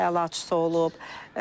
Dərs əlaçısı olub.